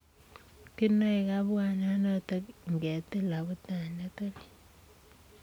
Kinae kabwanaa notok ingetiil abutaniet oriit.